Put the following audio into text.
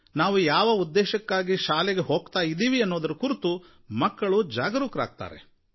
ತಾವು ಯಾವ ಉದ್ದೇಶಕ್ಕಾಗಿ ಶಾಲೆಗೆ ಹೋಗ್ತಾ ಇದ್ದೀವಿ ಅನ್ನೋದರ ಕುರಿತು ಮಕ್ಕಳೂ ಜಾಗರೂಕರಾಗ್ತಾರೆ